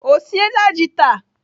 Ọ siela ji taa.